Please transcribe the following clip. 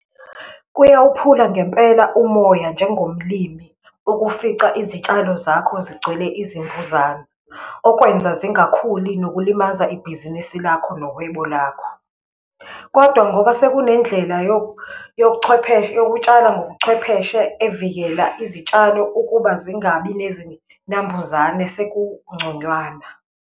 Kuyawuphula ngempela umoya njengomlimi, ukufica izitshalo zakho zigcwele izimvuzane, okwenza zingakhuli nokulimaza ibhizinisi lakho, nohwebo labo. Kodwa ngoba sekunendlela yokutshala ngobuchwepheshe evikela izitshalo ukuba zingabi nezinambuzane, sekungconywana.